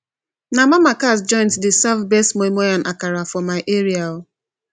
na mama cass joint dey serve best moi moi and akara for my area